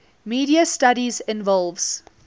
media studies involves